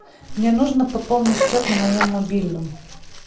мне нужно пополнить счет на моем мобильном